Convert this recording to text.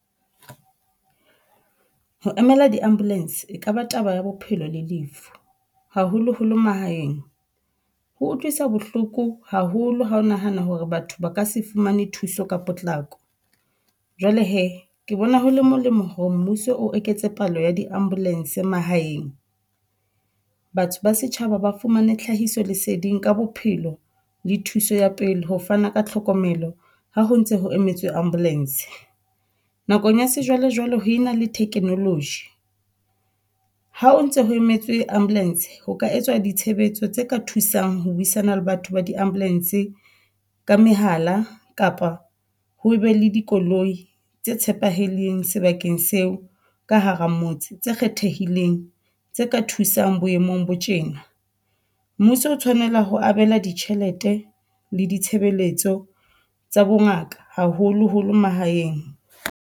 Ho emela di-ambulance e kaba taba ya bophelo le lefu, haholoholo mahaeng. Ho utlwisa bohloko haholo ha ho nahana hore batho ba ka se fumane thuso ka potlako. Jwale he ke bona ho le molemo hore mmuso o eketse palo ya di-ambulance mahaeng. Batho ba setjhaba ba fumane tlhahiso leseding ka bophelo le thuso ya pele, ho fana ka tlhokomelo ha ho ntse ho emetswe ambulance. Nakong ya sejwalejwale ho ena le technology, ha o ntse ho emetswe ambulance ho ka etswa ditshebetso tse ka thusang ho buisana le batho ba di-ambulance ka mehala kapa ho be le dikoloi tse tshepahaleng sebakeng seo ka hara motse tse kgethehileng tse ka thusang boemong bo tjena. Mmuso o tshwanela ho abela ditjhelete le ditshebeletso tsa bongaka, haholoholo mahaeng.